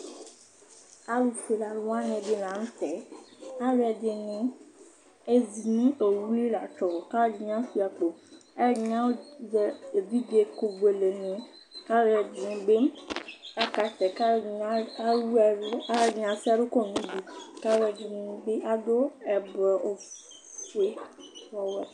Alufuelealu wani di la nʋ tɛ Alu ɛdɩnɩ ezi nʋ owu li vlatsɔɔ, kʋ ɛdɩnɩ ashua akpo Alu ɛdɩnɩ azɛ evidze ɛkʋbuele ni, kʋ alu ɛdɩnɩ bɩ akaɣɛsɛ, kʋ alu ɛdɩnɩ ewu ɛlʋ, kʋ alu ɛdɩnɩ bɩ ase ɛlʋkɔnʋ udu, kʋ alu ɛdɩnɩ bɩ adu ɛblɔawu ofue nʋ ɔwɛ